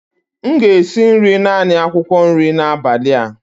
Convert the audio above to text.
M ga-esi nri naanị akwụkwọ nri n'abalị a